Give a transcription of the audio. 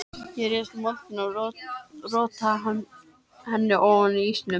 Þeir réðust að moldinni og rótuðu henni ofan af ísnum.